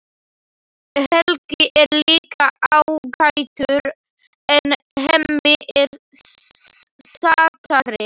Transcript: Helgi er líka ágætur en Hemmi er sætari.